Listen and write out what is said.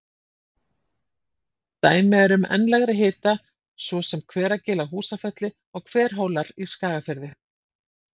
Dæmi eru um enn lægri hita svo sem Hveragil á Húsafelli og Hverhólar í Skagafirði.